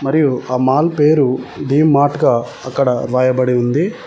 మరియు ఆ మాల్ పేరు డి మార్ట్ గా అక్కడ రాయబడి ఉంది.